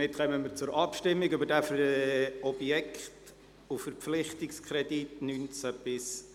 Somit kommen wir zur Abstimmung über diesen Objekt- und Verpflichtungskredit, 2019– 2026.